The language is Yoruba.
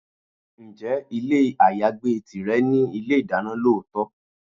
Ǹjẹ́ ilé ayagbé tìrẹ ní ilé-ìdáná lọ́tọ̀?